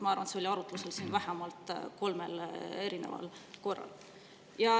Ma arvan, et see on siin arutlusel olnud vähemalt kolmel korral.